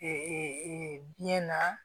biɲɛ na